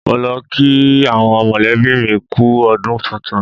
Mo lọ kí àwọn mọ̀lẹ́bí mi kú u ọdún tuntun.